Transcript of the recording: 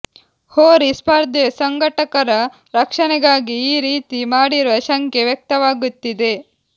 ಹೋರಿ ಸ್ಪರ್ಧೆ ಸಂಘಟಕರ ರಕ್ಷಣೆಗಾಗಿ ಈ ರೀತಿ ಮಾಡಿರುವ ಶಂಕೆ ವ್ಯಕ್ತವಾಗುತ್ತಿದೆ